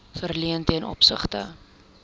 verleen ten opsigte